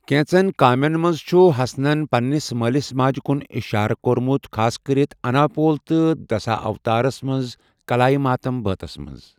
کینژن کامین منز چھُ ہسنَن پننِس مٲلِس ماجہِ کُن اِشارٕ کورمُت ، خاصکرِتھ اُنایپول تہٕ دسا اوتارمس منز ' کلایہ ماتُم ' بٲتس منز ۔